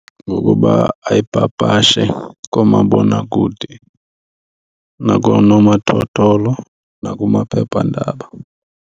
Ngokuba ayipapashe koomabonakude nakoonomathotholo nakumaphephandaba.